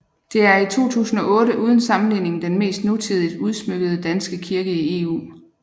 Det er i 2008 uden sammenligning den mest nutidigt udsmykkede danske kirke i EU